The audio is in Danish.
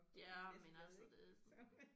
Ja men altså det